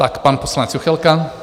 Tak, pan poslanec Juchelka.